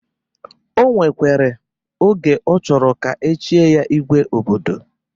O nwekwere oge ọ chọrọ ka echie ya igwe obodo.